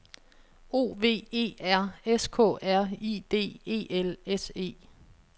O V E R S K R I D E L S E